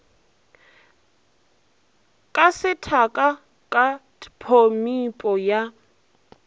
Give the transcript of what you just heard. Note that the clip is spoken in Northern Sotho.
ka sethaka ka tphomipo ya